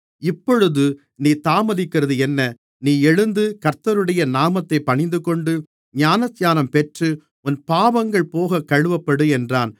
இப்பொழுது நீ தாமதிக்கிறது என்ன நீ எழுந்து கர்த்தருடைய நாமத்தைத் பணிந்துகொண்டு ஞானஸ்நானம் பெற்று உன் பாவங்கள் போகக் கழுவப்படு என்றான்